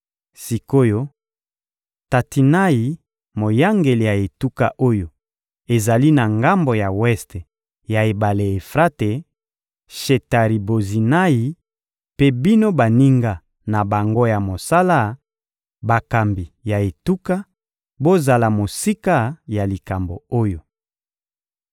Sik’oyo, Tatinayi, moyangeli ya etuka oyo ezali na ngambo ya weste ya ebale Efrate, Shetari-Bozinayi mpe bino baninga na bango ya mosala, bakambi ya etuka, bozala mosika ya likambo oyo.